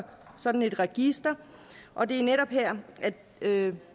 sådan et register og det er netop her at